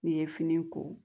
N'i ye fini ko